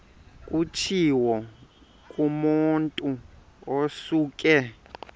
kutshiwo kumotu osuke